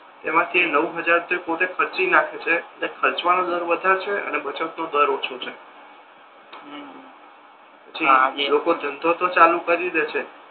એમાથી નવ હજાર તો એ પોતે ખર્ચી નાખે છે અને ખર્ચવાનો દર વધારે છે અને બચત નો દર ઓછો છે પછી લોકો ધંધો તો ચાલુ કરી દે છે